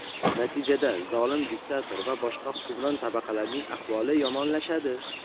natijada zolim diktator va boshqa hukmron tabaqalarning ahvoli yomonlashadi.